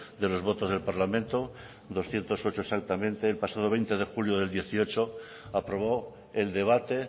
de los votos del parlamento doscientos ocho exactamente el pasado veinte de julio de dos mil dieciocho aprobó el debate